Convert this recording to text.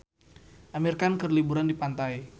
Amir Khan keur liburan di pantai